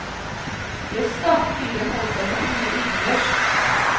Jøssda, fyren holdt seg nok mye utendørs.